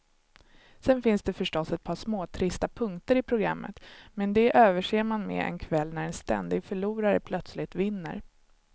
Sen finns det förstås ett par småtrista punkter i programmet, men de överser man med en kväll när en ständig förlorare plötsligt vinner.